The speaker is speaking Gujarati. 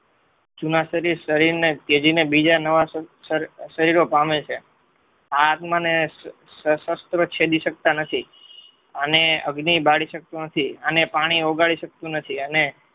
જુના સદી શરીરને ત્યજીને બીજા નવા શરીરોપામે છે. આ આત્મને શાસ્ત્રો છેદી સકતા નથી અને અગ્નિ બાળી શકતો નથી અને પાણી ઓગાળી શકતો નથી અને